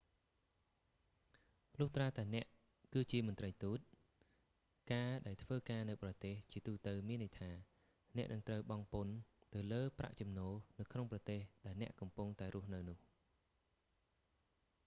លុះត្រាតែអ្នកគឺជាមន្រ្តីទូត ការដែលធ្វើការនៅបរទេស ជាទូទៅមានន័យថា អ្នកនឹងត្រូវបង់ពន្ធទៅលើប្រាក់ចំណូល នៅក្នុងប្រទេស ដែលអ្នកកំពុងតែរស់នៅនោះ